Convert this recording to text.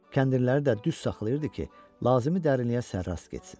Kəndirləri də düz saxlayırdı ki, lazımi dərinliyə sərrast getsin.